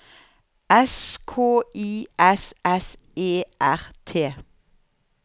S K I S S E R T